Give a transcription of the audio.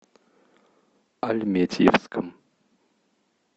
альметьевском